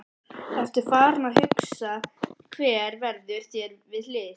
Ertu farinn að hugsa hver verður þér við hlið?